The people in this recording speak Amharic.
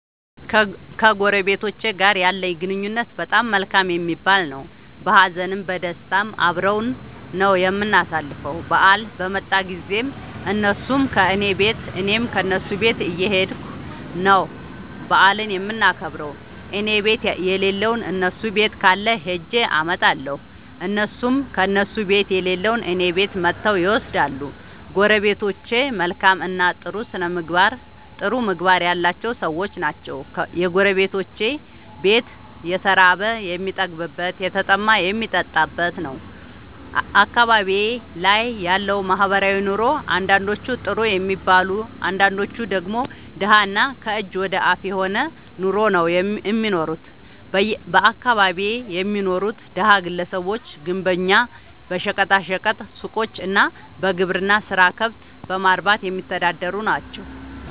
ከጎረቤቶቸ ጋር ያለኝ ግንኙነት በጣም መልካም የሚባል ነዉ። በሀዘንም በደስታም አብረን ነዉ የምናሣልፈዉ በአል በመጣ ጊዜም እነሡም ከኔ ቤት እኔም ከነሡ ቤት እየኸድኩ ነዉ በዓሉን የምናከብር እኔቤት የለለዉን እነሡ ቤት ካለ ኸጀ አመጣለሁ። እነሡም ከእነሡ ቤት የሌለዉን እኔ ቤት መጥተዉ ይወስዳሉ። ጎረቤቶቸ መልካምእና ጥሩ ምግባር ያላቸዉ ሠዎች ናቸዉ። የጎረቤቶቼ ቤት የተራበ የሚጠግብበት የተጠማ የሚጠጣበት ነዉ። አካባቢዬ ላይ ያለዉ ማህበራዊ ኑሮ አንዳንዶቹ ጥሩ የሚባል አንዳንዶቹ ደግሞ ደሀ እና ከእጅ ወደ አፍ የሆነ ኑሮ ነዉ እሚኖሩት በአካባቢየ የሚኖሩት ደሀ ግለሰቦች ግንበኛ በሸቀጣ ሸቀጥ ሡቆች እና በግብርና ስራ ከብት በማርባትየሚተዳደሩ ናቸዉ።